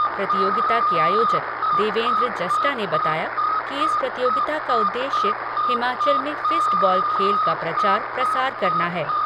प्रतियोगिता के आयोजक देवेन्द्र जस्टा ने बताया कि इस प्रतियोगिता का उद्देश्य हिमाचल में फिस्ट बॉल खेल का प्रचार प्रसार करना है।